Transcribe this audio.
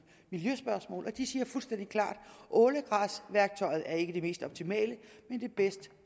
miljøspørgsmål og de siger fuldstændig klart ålegræsværktøjet er ikke det mest optimale men det bedst